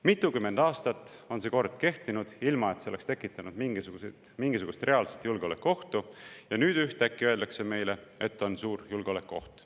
Mitukümmend aastat on see kord kehtinud, ilma et see oleks tekitanud mingisugust reaalset julgeolekuohtu, ja nüüd ühtäkki öeldakse meile, et on suur julgeolekuoht.